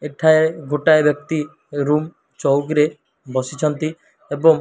ଏଠାଏ ଗୋଟାଏ ବ୍ୟକ୍ତି ରୁମ୍ ଚୌକିରେ ବସିଛନ୍ତି ଏବଂ --